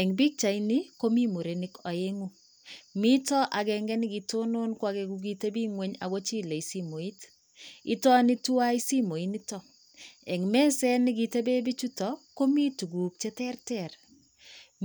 Eng pikchaini komi murenik aeng'u. Mito akenke nekitonon ko ake kokitebi ng'ony akochile somoit. Itoni tuwai simoinito. Eng meset nekitepee bichuto komi tuguk cheterter: